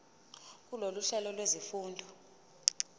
kulolu hlelo lwezifundo